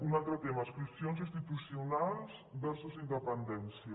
un altre tema adscripcions institucionals versus independència